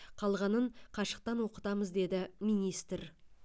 қалғанын қашықтан оқытамыз деді министр